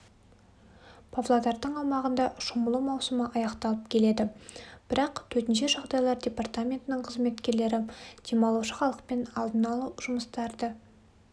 павлодардың аумағында шомылу маусымы аяқталып келеді бірақ төтенше жағдайлар департаментінің қызметкерлері демалушы халықпен алдын алу жұмыстарды